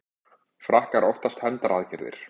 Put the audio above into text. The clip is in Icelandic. Frakkar óttast hefndaraðgerðir